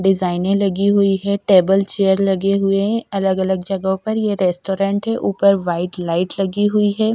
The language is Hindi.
डिजाइने लगी हुई है टेबल चेयर लगे हुए अलग अलग जगह पर ये रेस्टोरेंट है ऊपर व्हाइट लाइट लगी हुई है।